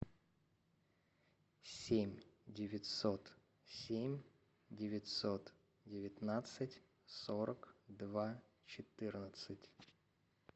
семь девятьсот семь девятьсот девятнадцать сорок два четырнадцать